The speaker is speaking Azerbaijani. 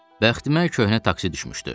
Bəxtimə köhnə taksi düşmüşdü.